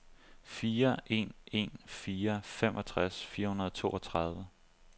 fire en en fire femogtres fire hundrede og toogtredive